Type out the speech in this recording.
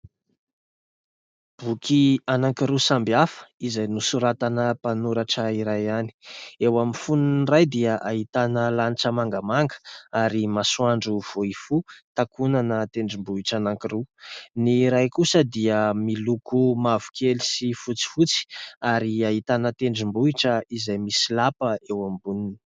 Boky anankiroa samby hafa izay nosoratana mpanoratra iray ihany, eo amin'ny fononiny iray dia ahitana lanitra mangamanga ary masoandro vao hifoha takonana tendrombohitra anankiroa, ny iray kosa dia miloko mavokely sy fotsifotsy ary ahitana tendrombohitra izay misy lapa eo amboniny.